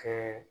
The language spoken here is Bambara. Kɛ